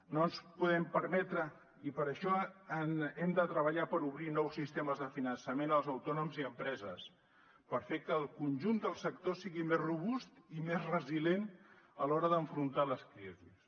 no ens ho podem permetre i per això hem de treballar per obrir nous sistemes de finançament als autònoms i empreses per fer que el conjunt del sector sigui més robust i més resilient a l’hora d’afrontar les crisis